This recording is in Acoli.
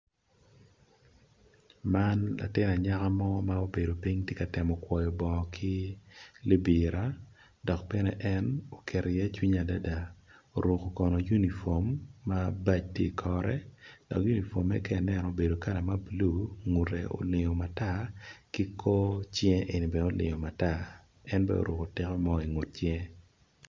Man, latin anyaka mo ma obedo piny ti temo kwoyo bongo ki libira, dok bene en oketo cwinye adada oruku kono unifom ma baj ti ikore. Dok unifome ka i neno obedo kala ma bulu ngute olingo matar ki kor cinge eni bene oloingo matar, en bene oruko tiko mo i cinge.